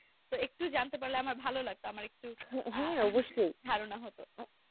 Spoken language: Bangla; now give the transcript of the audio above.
তো নেকটু জানতে পারলে আমার ভালো লাগতো আমার একটু ধারণা হতো